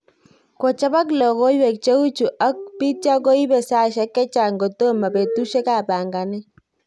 Kochobok logoiwek che uchu ak pitio koibe saisiek chechang' kotimo petusiek ab panganet